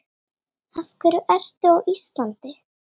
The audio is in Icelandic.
Af hverju ertu á Íslandi?